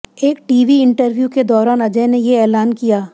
एक TV interview के दौरान अजय ने ये ऐलान किया